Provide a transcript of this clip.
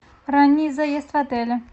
ранний заезд в отеле